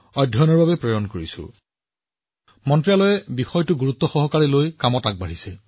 মই সুখী যে মন্ত্ৰালয়ে ইমান কম সময়ৰ ভিতৰতে এই পৰামৰ্শবোৰ অতি গুৰুত্বসহকাৰে লৈছিল আৰু সেইবোৰৰ ওপৰত কাম কৰিছিল